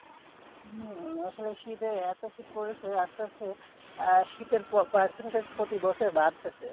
হম আসলে শীতে এতো শীত পড়েছে আসতে আসতে আহ শীতের percentage প্রতি বছরে বাড়তাছে।